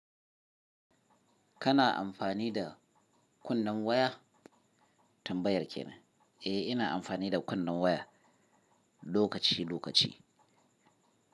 Kana amfani da kunnen waya? Tambayar kenan. Eh, ina amfani da kunnen waya lokaci lokaci.